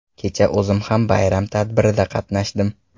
Kecha o‘zim ham bayram tadbirida qatnashdim.